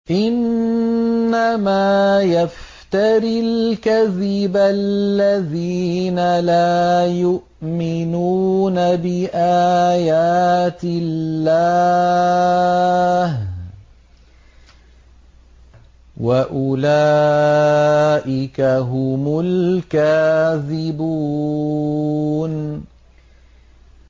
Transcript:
إِنَّمَا يَفْتَرِي الْكَذِبَ الَّذِينَ لَا يُؤْمِنُونَ بِآيَاتِ اللَّهِ ۖ وَأُولَٰئِكَ هُمُ الْكَاذِبُونَ